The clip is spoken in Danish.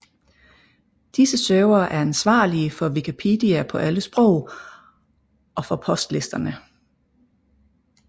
Disse servere er ansvarlige for Wikipedia på alle sprog og for postlisterne